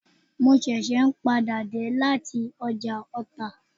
Mo ṣẹ̀ṣẹ̀ n padà dé lati ọjà ọta